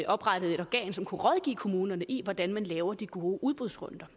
oprettede et organ som kunne rådgive kommunerne i hvordan de laver gode udbudsrunder